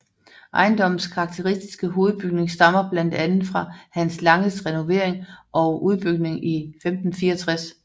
Ejendommens karakteristiske hovedbygning stammer blandt andet fra Hans Langes renovering og udbygning i 1564